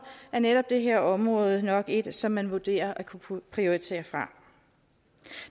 er netop det her område nok et som man vurderer at kunne prioritere fra